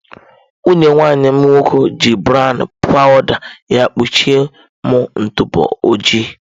Nwunye nwanne m nwoke ji brown powụda ya kpuchie m ntụpọ ojii.